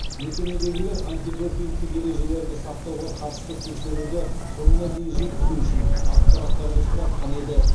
мекемедегілер антидопингтік ережелерді сақтауға қатысты тексеруді соңына дейін жеткізу үшін ақпараттарды сұратқан еді